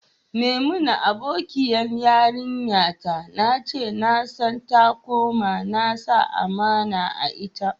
Maimuna abokiyan yaranta na ce, na san ta kuma na sa amana a'ita.